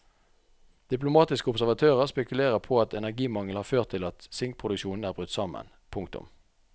Diplomatiske observatører spekulerer på at energimangel har ført til at sinkproduksjonen er brutt sammen. punktum